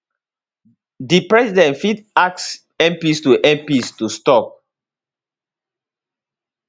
di president fit ask mps to mps to stop